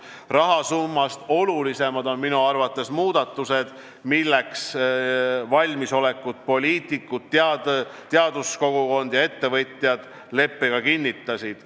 Rahasummast olulisemad on minu arvates aga muudatused, milleks valmisolekut poliitikud, teaduskogukond ja ettevõtjad leppega kinnitasid.